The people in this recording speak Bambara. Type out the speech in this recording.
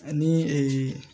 Ani